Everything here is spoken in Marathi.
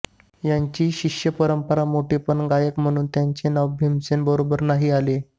यांची शिष्य परंपरा मोठी पण गायक म्हणुन त्यांचे नाव भीमसेन बरोबर नाही आले